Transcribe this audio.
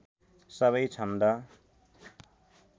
सबै छन्द